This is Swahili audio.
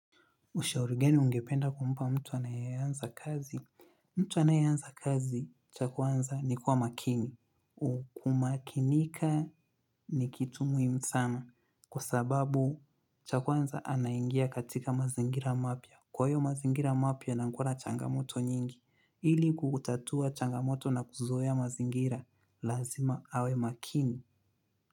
Ushauri gani ungependa kumpa mtu anayeanza kazi? Mtu anayeanza kazi, cha kwanza, ni kuwa makini. Kumakinika ni kitu muhimu sana kwa sababu cha kwanza anaingia katika mazingira mapya. Kwa hiyo mazingira mapya, nakuwa na changamoto nyingi. Ili kutatua changamoto na kuzoea mazingira, lazima awe makini.